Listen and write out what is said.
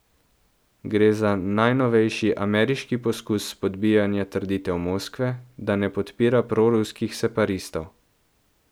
Gre za najnovejši ameriški poskus spodbijanja trditev Moskve, da ne podpira proruskih separatistov.